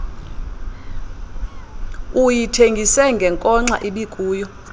uyithengise ngenkonxa ibikuyo